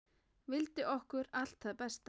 Vildi okkur allt það besta.